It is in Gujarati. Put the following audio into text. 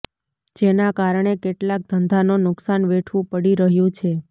જેના કારણે કેટલાક ધંધાનો નુકસાન વેઠવું પડી રહ્યું છે